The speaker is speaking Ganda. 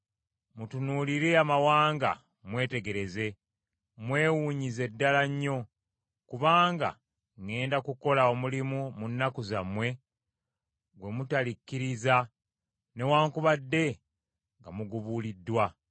“Mutunuulire amawanga, mwetegereze. Mwewuunyize ddala nnyo. Kubanga ŋŋenda kukola omulimu mu nnaku zammwe gwe mutalikkiriza newaakubadde nga mugubuuliddwa.